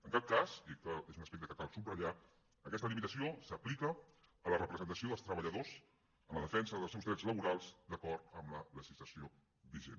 en cap cas i aquest és un aspecte que cal subratllar aquesta limitació s’aplica a la representació dels treballadors en la defensa dels seus drets laborals d’acord amb la legislació vigent